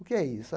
O que é isso?